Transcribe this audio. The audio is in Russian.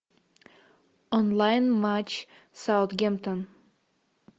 онлайн матч саутгемптон